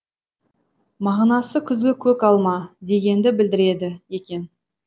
мағынасы күзгі көк алма дегенді білдіреді екен